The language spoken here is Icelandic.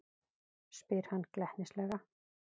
spyr hann glettnislega.